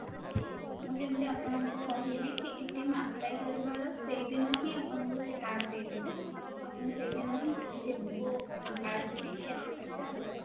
ମୁଁ ଯେମିତି ଆପଣଙ୍କୁ କହିଲି କି apply କରିବାର ସେଇଦିନ ହିଁ ଆପଣଙ୍କୁ ସେ card ଦେଇଦେବେ ଆପଣ ସେଇ ଦିନ ହିଁ ସେଇ କୁ bank ରୁ ନେଇଆସିପାରିବେ ଆଉ ବ୍ୟବାହାର କରିପାରିବେ